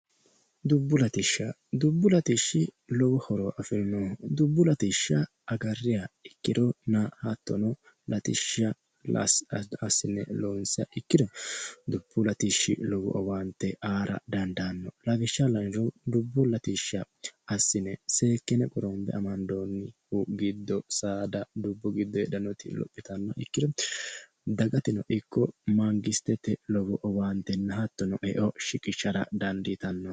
Dubbu latishsha, dubbu latishshi lowo horo afirinoho dubbu latishsha agariha ikkiro hattono latishsha assine loonsiha ikkiro dubbu latishshi lowo horo aankera dandaano lawishsha la'niro dubbu latishsha assine seekkine amandonni giddo saada dubbu giddo lophittanoha ikkiro dagateno ikko Mangistete lowo eonna owaante shiqqishara dandiittano.